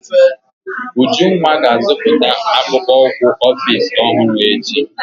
Ujunwa ga-azụta akpụkpọ ụkwụ Ọfịs ọhụrụ echi.